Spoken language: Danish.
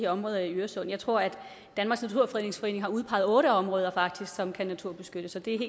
områder i øresund jeg tror at danmarks naturfredningsforening faktisk har udpeget otte områder som kan naturbeskyttes og det